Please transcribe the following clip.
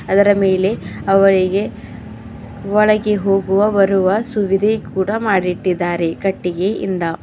ಅದರ ಮೇಲೆ ಅವುಗಳಿಗೆ ಒಳಗೆ ಹೋಗುವ ಬರುವ ಸುವಿದೆ ಕೂಡ ಮಾಡಿಟ್ಟಿದ್ದಾರೆ ಕಟ್ಟಿಗೆಯಿಂದ.